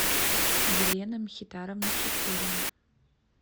елена мхитаровна шипулина